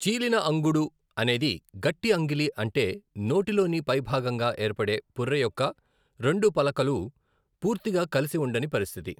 చీలిన అంగుడు అనేది గట్టి అంగిలి అంటే నోటిలోని పైభాగంగా ఏర్పడే పుర్రె యొక్క రెండు పలకలు పూర్తిగా కలిసి ఉండని పరిస్థితి.